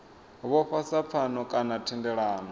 vhofha sa pfano kana thendelano